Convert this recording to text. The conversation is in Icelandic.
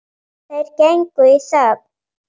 Þeir gengu í þögn.